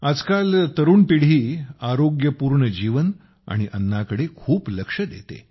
आजकाल तरुण पिढी आरोग्यपूर्ण जीवन आणि अन्नाकडे खूप लक्ष देते